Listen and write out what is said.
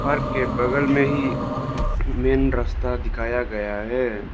घर के बगल में ही मेन रास्ता दिखाया गया है।